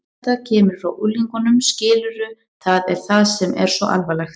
Þetta kemur frá unglingunum, skilurðu, það er það sem er svo alvarlegt.